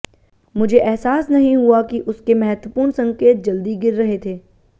मुझे एहसास नहीं हुआ कि उसके महत्वपूर्ण संकेत जल्दी गिर रहे थे